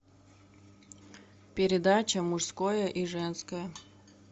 передача мужское и женское